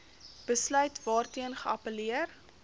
besluit waarteen geappelleer